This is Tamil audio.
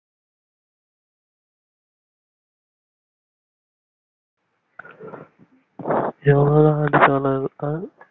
jolly